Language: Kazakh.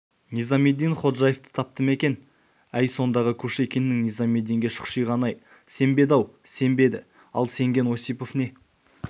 низамеддин ходжаевты тапты ма екен әй сондағы кушекиннің низамеддинге шұқшиғаны-ай сенбеді-ау сенбеді ал сенген осипов не